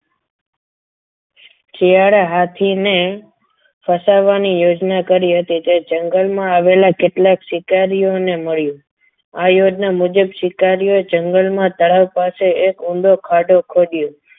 હાથીને ફસાવવાની યોજના કરી હતી કે જંગલમાં આવેલા કેટલાક શિકારીઓને મળ્યું આ યોજના મુજબ સ્વીકાર્યો એ જંગલમાં તળાવ પાસે એક ઊંડો ખાધો ખોદયો.